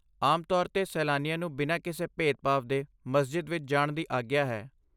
ਆਮ ਤੋਰ 'ਤੇ ਸੈਲਾਨੀਆਂ ਨੂੰ ਬਿਨਾਂ ਕਿਸੇ ਭੇਦ ਭਾਵ ਦੇ ਮਸਜਿਦ ਵਿੱਚ ਜਾਣ ਦੀ ਆਗਿਆ ਹੈ